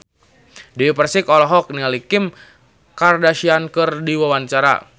Dewi Persik olohok ningali Kim Kardashian keur diwawancara